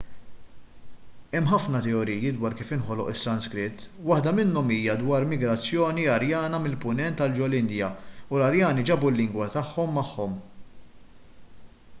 hemm ħafna teoriji dwar kif inħoloq is-sanskrit waħda minnhom hija dwar migrazzjoni arjana mill-punent għal ġol-indja u l-arjani ġabu l-lingwa tagħhom magħhom